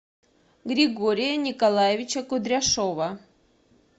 григория николаевича кудряшова